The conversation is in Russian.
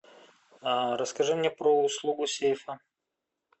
расскажи мне про услугу сейфа